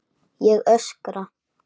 Ég öskra.